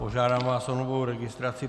Požádám vás o novou registraci.